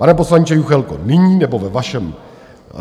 Pane poslanče Juchelko, nyní, nebo ve vašem